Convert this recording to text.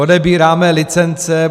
Odebíráme licence.